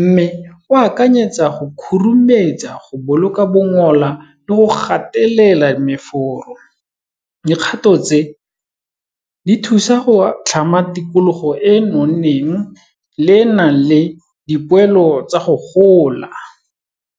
mme o akanyetsa go khurumetsa, go boloka bongola le go gatelela meforo. Dikgato tse, di thusa go tlhama tikologo e nonneng le e nang le dipoelo tsa go gola.